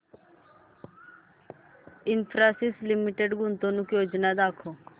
Infosys limited गुंतवणूक योजना दाखव